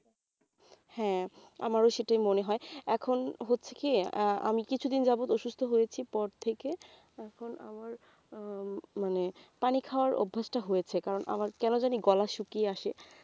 হ্যাঁ আমারও সেটাই মনে হয় এখন হচ্ছে কি আহ আমি কিছুদিন যাবত অসুস্থ হয়েছি পর থেকে এখন আমার মানে পানি খাওয়ার অভ্যেসটা হয়েছে কারণ আমার কেন জানি গলা শুকিয়ে আসে